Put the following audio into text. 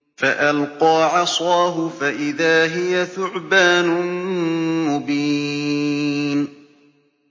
فَأَلْقَىٰ عَصَاهُ فَإِذَا هِيَ ثُعْبَانٌ مُّبِينٌ